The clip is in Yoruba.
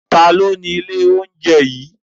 Ta ni ó ni ilé oúnjẹ yìí?